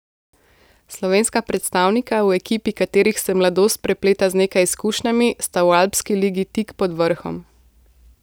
Slovenska predstavnika, v ekipi katerih se mladost prepleta z nekaj izkušnjami, sta v Alpski ligi tik pod vrhom.